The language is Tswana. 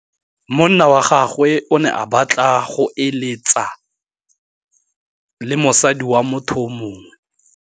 Monna wa gagwe o ne a batla go êlêtsa le mosadi wa motho yo mongwe.